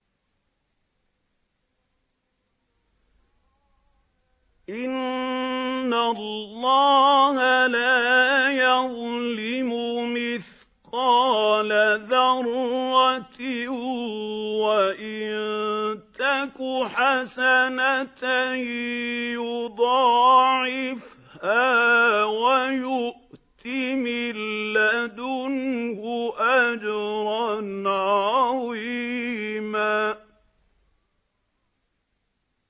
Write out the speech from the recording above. إِنَّ اللَّهَ لَا يَظْلِمُ مِثْقَالَ ذَرَّةٍ ۖ وَإِن تَكُ حَسَنَةً يُضَاعِفْهَا وَيُؤْتِ مِن لَّدُنْهُ أَجْرًا عَظِيمًا